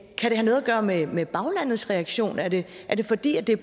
gøre med med baglandets reaktion er det er det fordi det